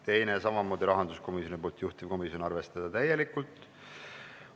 Teine on samamoodi rahanduskomisjonilt ja juhtivkomisjon on arvestanud täielikult.